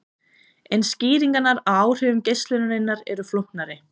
En skýringar á áhrifum geislunarinnar eru flóknari.